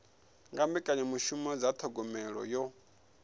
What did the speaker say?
nga mbekanyamishumo dza thogomelo yo